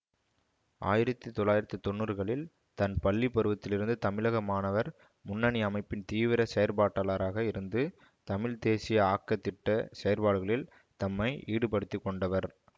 ஆயிரத்தி தொள்ளாயிரத்தி தொன்னூறுகளில் தன் பள்ளி பருவத்திலிருந்து தமிழக மாணவர் முன்னணி அமைப்பின் தீவிர செயற்பாட்டாளராக இருந்து தமிழ் தேசிய ஆக்கத் திட்ட செயற்பாடுகளில் தம்மை ஈடுபடுத்தி கொண்டவர்